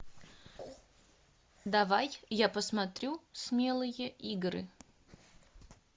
давай я посмотрю смелые игры